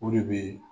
O de bɛ